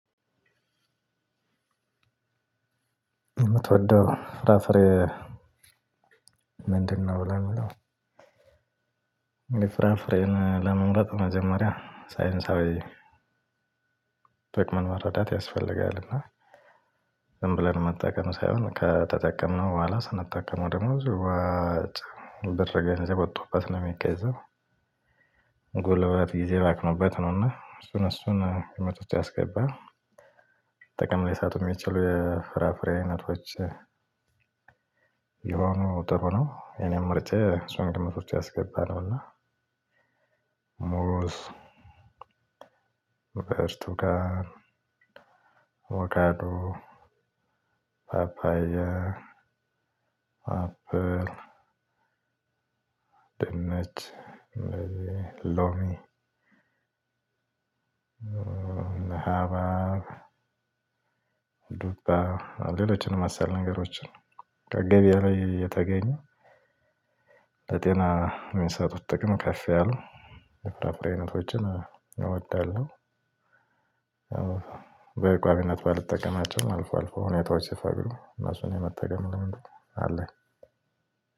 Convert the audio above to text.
ምትወደው ፍራፍሬ ምንድነው? ለምለው እኔ ፍራፍሬን ለመምረጥ መጀመሪያ ሳይንሳዊ ጥቅምን መረዳት ያስፈልጋልና ዝም ብለን መጠቀም ሳይሆን ከተጠቀምነው በኋላ ስንጠቀመው ደግሞ ብዙ ገንዘብ ወጥቶበት ነው የሚገዛው። ጎልበት ጊዜ ባክኖበት ነውና እሱን እሱን ግምት ውስጥ ያስገባ ጥቅም ሊሰጡ የሚችሉ የፍራፍሬ አይነቶች ሆኖ ጥሩ ነው። እኔም ምችጫዬ እሱን ግምት ውስጥ ያስገባ ነውና ሙዝ፤ ብርቱካን፤ አቦካዶ፤ ፓፓያ፤ አፕል፤ ድነች፤ ሎሚ፤ ሀባብ፤ ዱባ፤ ሌሎችን መሰል ነገሮችን ከገበያ ላይ የተገኘ፤ ተጤና የሚሰጡት ጥቅም ከፍ ያሉ የፍራ ፍሬ አይነቶችን እወዳለሁ። በቋሚነት ባልጠቀማቸውም አልፎ አልፎ ሁኔታዎች ስፈቅዱ እነሱን የመጠገም ልምዱ አለ።